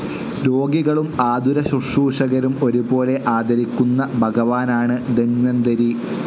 രോഗികളും ആതുരശ്രുശൂഷകരും ഒരുപോലെ ആരാധിക്കുന്ന ഭഗവാനാണ് ധന്വന്തരി.